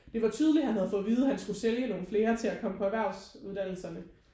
Det var tydeligt han havde fået at vide han skulle sælge nogle flere til at komme på erhvervsuddannelserne